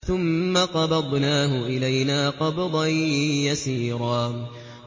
ثُمَّ قَبَضْنَاهُ إِلَيْنَا قَبْضًا يَسِيرًا